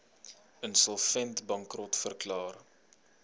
insolvent bankrot verklaar